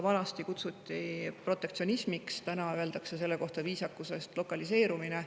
Vanasti kutsuti seda protektsionismiks, täna öeldakse selle kohta viisakusest "lokaliseerumine".